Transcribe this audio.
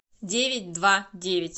девять два девять